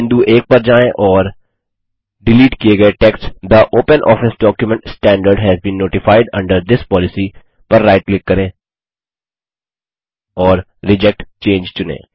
बिंदु 1 पर जाएँ और डिलीट किये गये टेक्स्ट थे OpenOffice document standard has been notified under this policy पर राइट क्लिक करें और रिजेक्ट चंगे चुनें